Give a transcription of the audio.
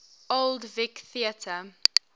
old vic theatre